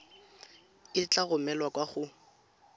e tla romelwa kwa go